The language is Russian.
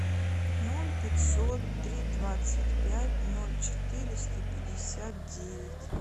ноль пятьсот три двадцать пять ноль четыреста пятьдесят девять